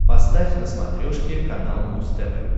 поставь на смотрешке канал муз тв